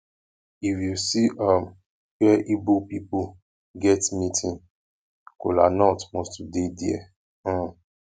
if yu see um wia igbo pipol get meeting kolanut must to dey dia um